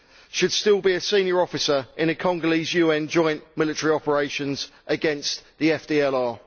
should still be a senior officer in a Congolese UN joint military operation against the FDLR.